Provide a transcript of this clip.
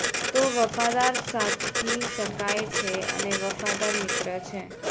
તે વફાદાર સાથી શકાય છે અને વફાદાર મિત્ર છે